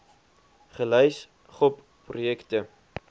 gelys gop projekte